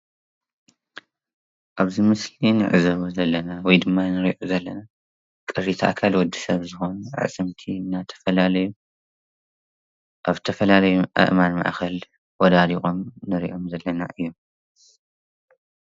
ኣብዚ ምስል ንዕዘቦ ዘለና ወይ ድማ ንርእዮ ዘለና ቅሪተ ኣካል ወዲ ሰብ ዝኮኑ ኣዕፅምቲ ኣብ ተፋላለዩ ኣብ ተፈላለዩ ኣእማን ማእከል ወዳዲቆም እንሪኦም ዘለና እዩ::